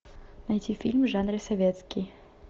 найти фильм в жанре советский